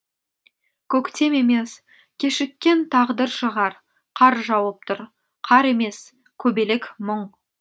көктем емес кешіккен тағдыр шығар қар жауып тұр қар емес көбелек мұң